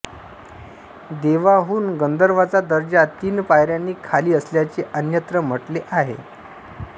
देवांहून गंधर्वांचा दर्जा तीन पायऱ्यांनी खाली असल्याचे अन्यत्र म्हटले आहे